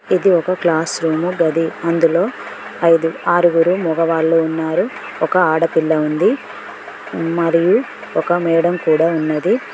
ఇది ఒక class room గది అందులో ఐదు ఆరుగురు మొగవాళ్ళు ఉన్నారు ఒక ఆడపిల్ల ఉంది మరియు ఒక మేడం కూడా ఉన్నది.